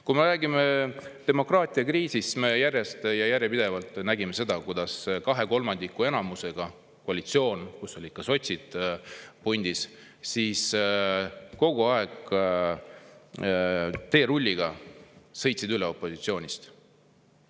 Kui me räägime demokraatiakriisist, siis me oleme järjest ja järjepidevalt näinud seda, kuidas kahekolmandikulise enamusega koalitsioon, kus oli ka sotsid pundis, on kogu aeg teerulliga opositsioonist üle sõitnud.